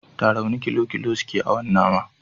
Tarauni kilo kilo suke awon nama